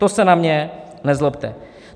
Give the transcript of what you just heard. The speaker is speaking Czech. To se na mě nezlobte.